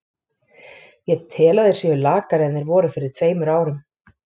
Ég tel að þeir séu lakari en þeir voru fyrir tveimur árum.